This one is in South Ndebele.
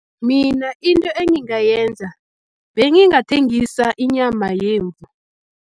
Mina into engingayenza, bengingathengisa inyama yemvu.